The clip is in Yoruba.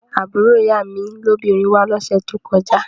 Àbúrò ìyá mi lóbìnrin wá lọ́sẹ̀ tó kọjá